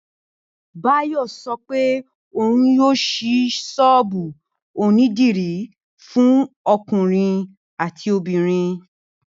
Báyò̩ so̩ pé òun yóò s̩í s̩ó̩ò̩bù onídìrí fún o̩kùnrin àti obìnrin